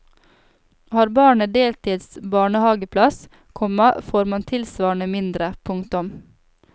Har barnet deltids barnehaveplass, komma får man tilsvarende mindre. punktum